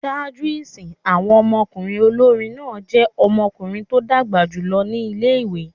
Ṣaaju isin, awọn ọmọkunrin olori náa jẹ ̣ọmọkunrin to dagba julọ ni ìlé-ìwé